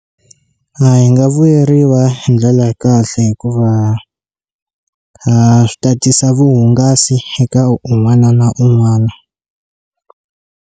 A hi nga vuyeriwa hi ndlela ya kahle hikuva swi tatisa vuhungasi eka un'wana na un'wana.